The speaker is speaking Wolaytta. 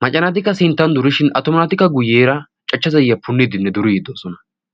maca naatikka sinttan durishin atuma naatikka guyyeera cachcha zayiya punniiddinne duri yiiddoosona